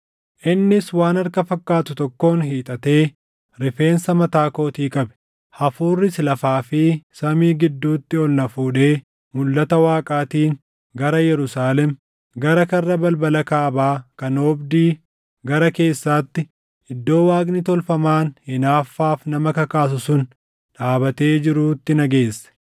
Innis waan harka fakkaatu tokkoon hiixatee rifeensa mataa kootii qabe. Hafuurris lafaa fi samii gidduutti ol na fuudhee mulʼata Waaqaatiin gara Yerusaalem, gara karra balbala kaabaa kan oobdii gara keessaatti, iddoo waaqni tolfamaan hinaaffaaf nama kakaasu sun dhaabatee jiruutti na geesse.